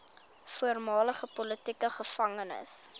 voormalige politieke gevangenes